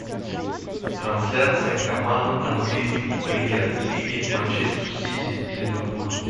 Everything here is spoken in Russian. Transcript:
трансляция команд английской премьер лиги манчестер сити и ливерпуль